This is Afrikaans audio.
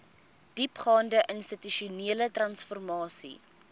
diepgaande institusionele transformasie